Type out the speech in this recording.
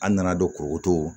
An nana don koko to